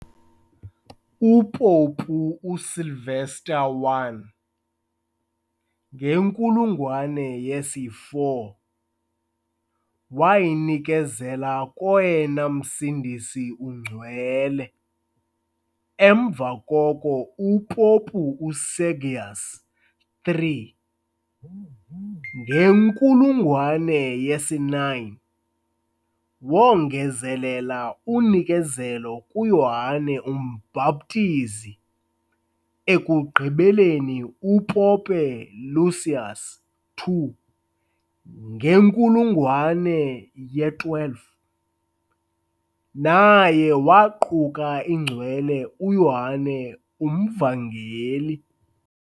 UPopu Sylvester I, ngenkulungwane yesi-4, wayinikezela koyena Msindisi uNgcwele. Emva koko uPopu uSergius three, ngenkulungwane yesi-9, wongezelela unikezelo kuYohane uMbhaptizi. Ekugqibeleni uPope Lucius two, ngenkulungwane ye-12, naye waquka iNgcwele uYohane uMvangeli.